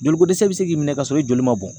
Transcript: Joliko dɛsɛ bɛ se k'i minɛ ka sɔrɔ i joli ma bɔn.